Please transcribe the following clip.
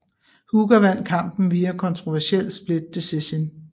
Hooker vandt kampen via kontroversiel split decision